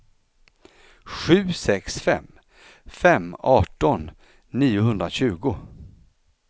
sju sex fem fem arton niohundratjugo